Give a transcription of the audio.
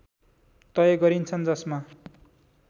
तय गरिन्छन् जसमा